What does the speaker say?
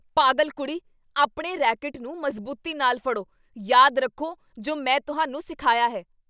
ਪਾਗਲ ਕੁੜੀ, ਆਪਣੇ ਰੈਕੇਟ ਨੂੰ ਮਜ਼ਬੂਤੀ ਨਾਲ ਫੜੋ ਯਾਦ ਰੱਖੋ ਜੋ ਮੈਂ ਤੁਹਾਨੂੰ ਸਿਖਾਇਆ ਹੈ